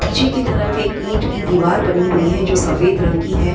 पीछे की तरफ एक ईट की दिवार बनी हुई है जो सफ़ेद रंग की है।